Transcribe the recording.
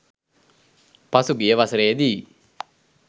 පසුගිය වසරේදීයි.